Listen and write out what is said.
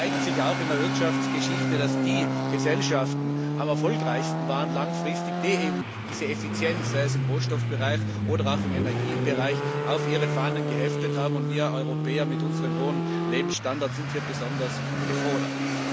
Es zeigt sich auch in der Wirtschaftsgeschichte, dass die Gesellschaften langfristig am erfolgreichsten waren, die diese Effizienz sei es im Rohstoffbereich oder auch im Energiebereich auf ihre Fahnen geschrieben haben, und wir Europäer mit unserem hohen Lebensstandard sind hier besonders gefordert.